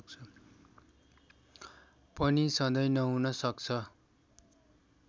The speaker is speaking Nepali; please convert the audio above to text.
पनि सधैं नहुन सक्छ